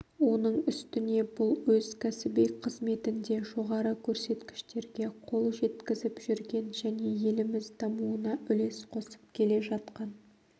оның үстіне бұл өз кәсіби қызметінде жоғары көрсеткіштерге қол жеткізіп жүрген және еліміз дамуына үлес қосып келе жатқан